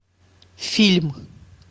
фильм